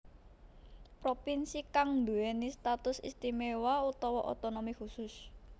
Propinsi kang duwéni status istiméwa utawa otonomi khusus